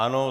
Ano.